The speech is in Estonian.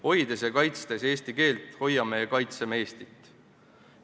Hoides ja kaitstes eesti keelt, hoiame ja kaitseme Eestit.